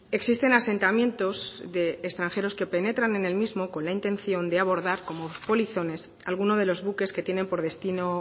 existen asentamientos de extranjeros que penetran en el mismo con la intención de abordar como polizones alguno de los buques que tienen por destino